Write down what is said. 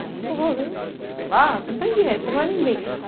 Você está sozinho lá, você não tem dinheiro, você não é ninguém.